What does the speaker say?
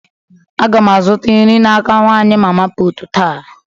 Agam azuta nri n'aka nwanyị mama putu ta